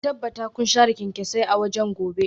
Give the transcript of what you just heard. Ku tabbata kun share kyanksosai a waje gobe